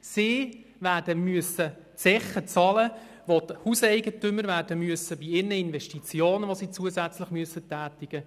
Sie werden die Zeche für die zusätzlichen Investitionen der Hauseigentümer